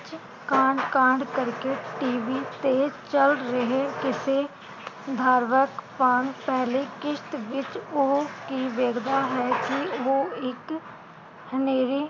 ਕਾਂਡ ਕਾਂਡ ਕਰਕੇ TV ਤੇ ਚਲ ਰਹੇ ਕਿਸੇ ਬਾਰਵਕ ਪਾਨ ਪਹਿਲੇ ਕਿਸ਼ਤ ਵਿਚ ਉਹ ਕਿ ਵੇਖਦਾ ਹੈ ਕਿ ਉਹ ਇਕ, ਹਨੇਰੇ